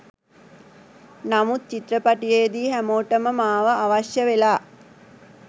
නමුත් චිත්‍රපටයේදී හැමෝටම මාව අවශ්‍යවෙලා.